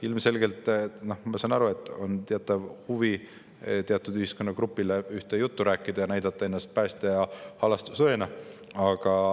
Ilmselgelt, ma saan aru, teil on huvi teatud ühiskonnagrupile ühte juttu rääkida ja näidata ennast päästja ja halastajaõena.